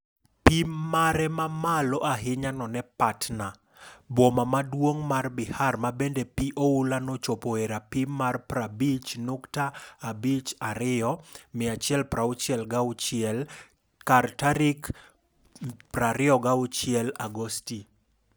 Pim mare mamalo ahinya none Patna, boma maduong' mar Bihar mabende pi oula no nochopo e rapim mar 50.52m (166ft) kar tarik 26 Agosti.